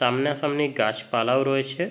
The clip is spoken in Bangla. সামনা সামনি গাছ পালাও রয়েছে।